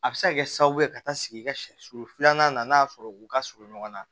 A bɛ se ka kɛ sababu ye ka taa sigi i ka sɛ sulu filanan na n'a sɔrɔ u ka surun ɲɔgɔn na